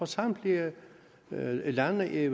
samtlige lande i